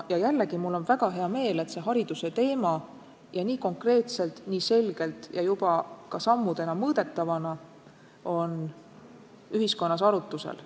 Ja jällegi on mul väga hea meel, et hariduse teema on nii konkreetselt, nii selgelt ja juba ka sammudena mõõdetavana ühiskonnas arutusel.